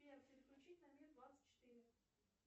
сбер переключить на мир двадцать четыре